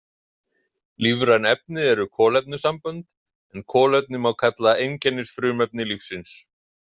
Lífræn efni eru kolefnissambönd en kolefni má kalla einkennisfrumefni lífsins.